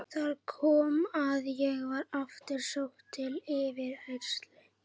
Þar kom að ég var aftur sótt til yfirheyrslu.